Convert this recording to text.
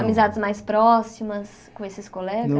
Amizades mais próximas com esses